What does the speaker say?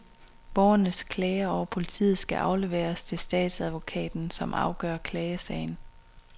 Borgernes klager over politiet skal afleveres til statsadvokaten, som afgør klagesagen.